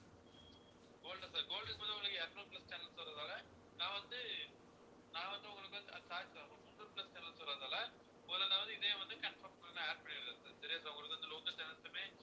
gold ஆ sir gold க்கு பாத்திங்கன்னா உங்களுக்கு இருநூறு plus channel வர்றதால நான் வந்து நான் வந்து உங்களுக்கு வந்து sorry sir உங்களுக்கு மூந்நூறு plus channels வர்றதால உங்களுக்கு நான் வந்து இதே வந்து confirm உங்களுக்கு நான் add பண்ணி விடுறேன் sir சரியா sir உங்களுக்கு வந்து local channels உமே